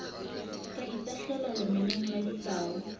ka itahlelang lemeneng la ditau